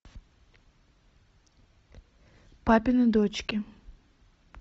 папины дочки